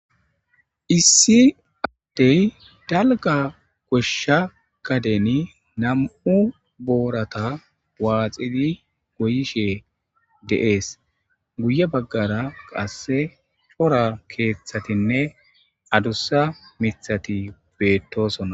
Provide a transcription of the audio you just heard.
Issi adde dalgga goshsha gadeni nam7u boorata waaxidi go7ishe de7ees. Guye bagara qasse cora keeththatinne adussa miththati beetosona.